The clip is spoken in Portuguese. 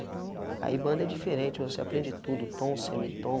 Aí a banda é diferente, você aprende tudo, tom, semitom.